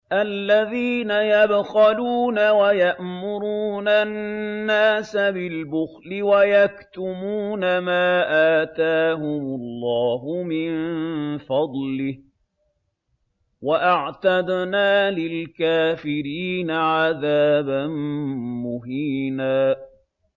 الَّذِينَ يَبْخَلُونَ وَيَأْمُرُونَ النَّاسَ بِالْبُخْلِ وَيَكْتُمُونَ مَا آتَاهُمُ اللَّهُ مِن فَضْلِهِ ۗ وَأَعْتَدْنَا لِلْكَافِرِينَ عَذَابًا مُّهِينًا